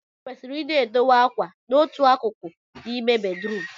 Ekwesịrị I na-edowe akwa na otu akụkụ n'ime bedrum